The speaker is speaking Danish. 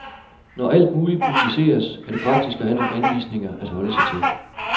Når alt muligt publiceres, er det praktisk at have nogle anvisninger at holde sig til.